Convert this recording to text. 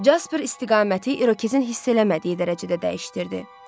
Jasper istiqaməti İrokezin hiss eləmədiyi dərəcədə dəyişdirdi.